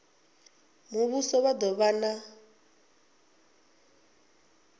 muvhuso vha do vha na